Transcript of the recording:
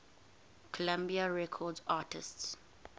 columbia records artists